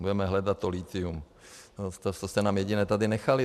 Budeme hledat to lithium, to jste nám jediné tady nechali.